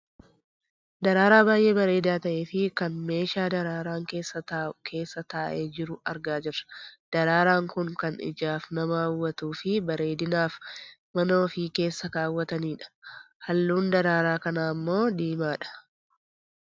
Daraaraa baayyee bareedaa ta'ee fi kan meeshaa daraaraan keessa taa'u keessa taa'ee jiru argaa jirra. Daraaraan kun kan ijaaf nama hawwatuufi bareedinaaf mana ofii keessa kaawwatanidha. Halluun daraaraa kanaa ammoo diimaadha.